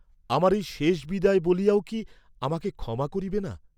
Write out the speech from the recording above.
আমার এই শেষ বিদায় বলিয়াও কি আমাকে ক্ষমা করিবে না?